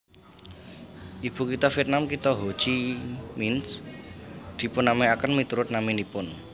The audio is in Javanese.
Ibukitha Vietnam kitha Ho Chi Minh dipunnamèaken miturut naminipun